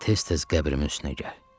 Tez-tez qəbrimin üstünə gəl.